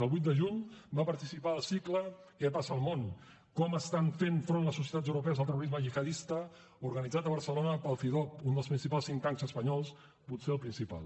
el vuit de juny va participar al cicle què passa al món com estan fent front les societats europees al terrorisme gihadista organitzat a barcelona pel cidob un dels principals think tanks espanyols potser el principal